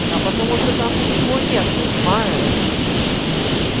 а потому что там ничего нет понимаешь